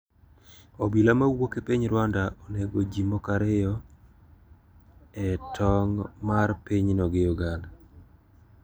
Obila ma wuok e piny Rwanda onego ji moko ariyo e tong` mar pinyno gi Uganda.